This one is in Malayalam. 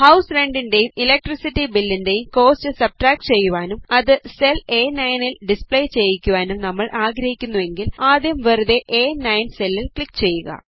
ഹൌസ് റെൻറ് ൻറേയും ഇലക്ട്രിസിറ്റി ബിൽ ൻറേയും കോസ്റ്റ് സബ്സ്ട്രാക്ട് ചെയ്യുവാനും അത് സെൽ അ9 ൽ ഡിസ്പ്ലേ ചെയ്യിക്കുവാനും നമ്മൾ ആഗ്രഹിക്കുന്നുവെങ്കിൽ ആദ്യം വെറുതെ അ9 സെല്ലിൽ ക്ലിക് ചെയ്യുക